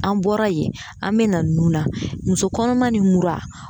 An bɔra yen an be na nun na muso kɔnɔma ni mura